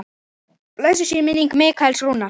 Blessuð sé minning Mikaels Rúnars.